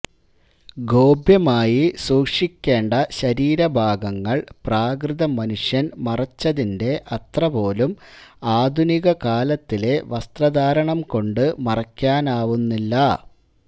ഗോപ്യമായി സൂക്ഷിക്കേണ്ട ശരീരഭാഗങ്ങൾ പ്രാകൃതമനുഷ്യൻ മറച്ചതിന്റെ അത്രപോലും ആധുനിക കാലത്തിലെ വസ്ര്തധാരണം കൊണ്ട് മറയ്ക്കുവാനാകുന്നില്ല